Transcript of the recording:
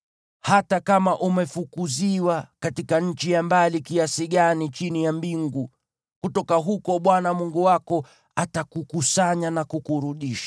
Hata kama umefukuziwa katika nchi ya mbali kiasi gani chini ya mbingu, kutoka huko Bwana Mungu wako atakukusanya na kukurudisha.